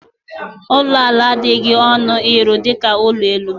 Ụlọ ala adịghị ọnụ ịrụ dịka ụlọ elu.